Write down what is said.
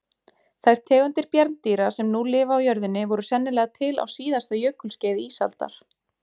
Þær tegundir bjarndýra sem nú lifa á jörðinni voru sennilega til á síðasta jökulskeiði ísaldar.